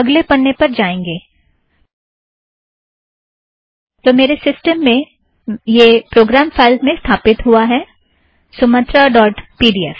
अगले पन्ने पर जाएंगे - तो मेरे सिस्टम में यह प्रोगाम फ़ाइलज़ में स्थापिथ्त हुआ है Sumatra dot P D F